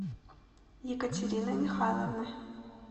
екатерины михайловны